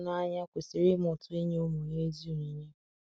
nna n'ahu n'anya kwesiri imụta inye ụmụ ya ezi onyinye